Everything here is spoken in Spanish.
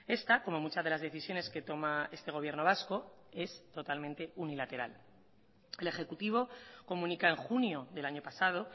esta como muchas de las decisiones que toma este gobierno vasco es totalmente unilateral el ejecutivo comunica en junio del año pasado